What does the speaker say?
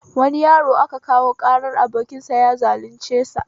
Wani yaro a kawo ƙarar abokinsa ya zalunce sa